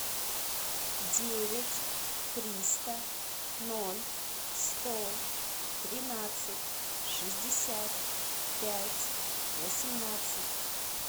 девять триста ноль сто тринадцать шестьдесят пять восемнадцать